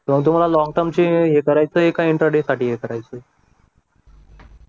मग तुम्हाला long term चें हे करायचे आहे कि इंट्राडे साठी हे करायचं